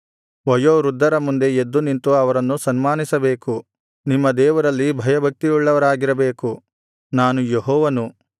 ವಯೋ ವೃದ್ಧರ ಮುಂದೆ ಎದ್ದು ನಿಂತು ಅವರನ್ನು ಸನ್ಮಾನಿಸಬೇಕು ನಿಮ್ಮ ದೇವರಲ್ಲಿ ಭಯಭಕ್ತಿಯುಳ್ಳವರಾಗಿರಬೇಕು ನಾನು ಯೆಹೋವನು